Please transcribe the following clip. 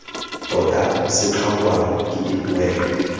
tota se tlhokwang ke dipoelo